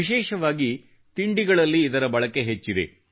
ವಿಶೇಷವಾಗಿ ತಿಂಡಿಗಳಲ್ಲಿ ಇದರ ಬಳಕೆ ಹೆಚ್ಚಿದೆ